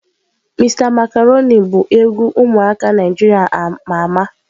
Mr macaroni bu egwu umuaka Naijiria ama ama.